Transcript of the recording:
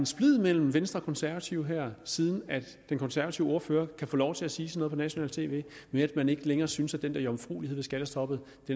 splid mellem venstre og konservative her siden den konservative ordfører kan få lov til at sige sådan nationalt tv med at man ikke længere synes at den der jomfruelighed ved skattestoppet